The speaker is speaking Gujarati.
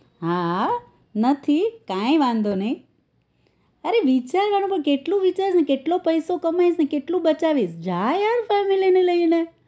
હા આ નસીબ કાઈ વાંધો નહિ અરે વિચારવાનો પણ કેટલો વિચારવાનો કેટલો પૈસો કમાઇસ ને કેટલો બચાવીસ જા yaar family ને લઈને